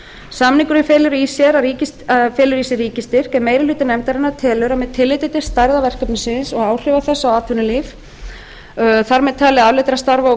samningurinn felur í sér ríkisstyrk en meiri hluti nefndarinnar telur að með tilliti til stærðar verkefnisins og áhrifa þess á atvinnulíf þar með talið afleiddra starfa og